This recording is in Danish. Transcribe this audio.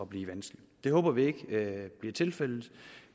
blive vanskelig det håber vi ikke bliver tilfældet